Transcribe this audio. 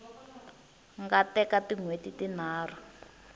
nga teka tin hweti tinharhu